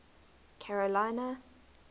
carolina